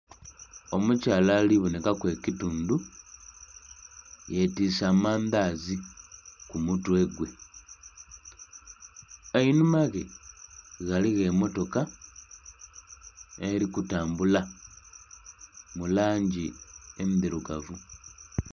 Omukyala ali bonheka ku ekitundhu ye twise amandhazi ku mutwe gwe einhuma ghe ghaligho emotoka eri kutambula mu langi endhirugavu.